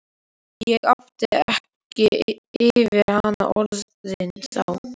Ég átti ekki yfir hana orðin þá.